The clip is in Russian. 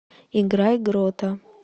играй грота